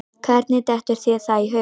Hvernig dettur þér það í hug?